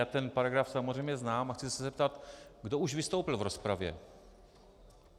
Já ten paragraf samozřejmě znám a chci se zeptat, kdo už vystoupil v rozpravě.